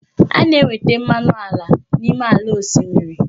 A na-enweta mmanụ ala n'ime ala osimiri.